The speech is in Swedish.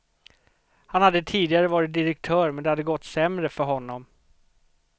Han hade tidigare varit direktör men det hade gått sämre för honom.